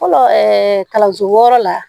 Fɔlɔ ɛɛ kalanso wɔɔrɔ la